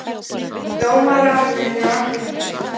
dómarnir eru allir birtir